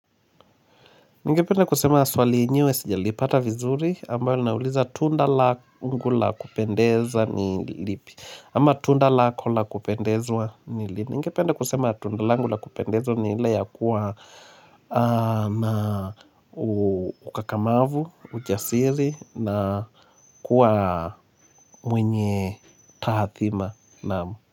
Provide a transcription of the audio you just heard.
Ningependa kusema swali yenyewe sijalipata vizuri ambayo linauliza tunda langu la kupendeza ni lipi ama tunda lako la kupendezwa ni lini Ningepende kusema tunda langu la kupendeza ni ila ya kuwa na ukakamavu, ujasiri na kuwa mwenye taathima naam.